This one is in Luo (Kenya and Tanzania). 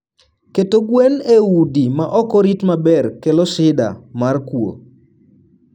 Keto gwen e udi ma ok orit maber kelo shida mar kuo.